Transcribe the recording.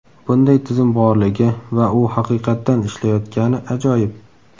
Bunday tizim borligi va u haqiqatdan ishlayotgani ajoyib!